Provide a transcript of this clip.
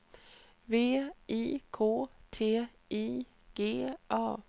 V I K T I G A